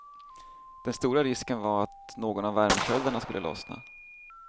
Den stora risken var att någon av värmesköldarna skulle lossna.